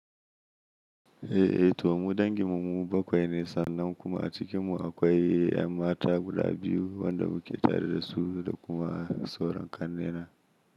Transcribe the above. Eh, to mu dangin mu bakwai ne sannan kuma a cikin mu akwai 'yan mata guda biyu wanda muke tare da su da kuma sauran ƙannena.